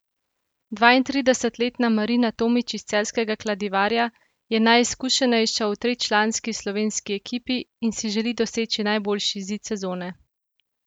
Dvaintridesetletna Marina Tomič iz celjskega Kladivarja je najizkušenejša v tričlanski slovenski ekipi in si želi doseči najboljši izid sezone.